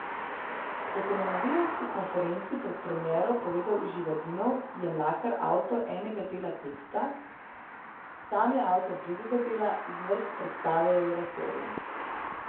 Kot je na novinarski konferenci pred premiero povedal Živadinov, je Mlakar avtor enega dela teksta, sam je avtor drugega dela, zvrst predstave je oratorij.